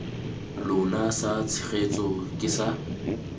lona sa tshegetso ke sa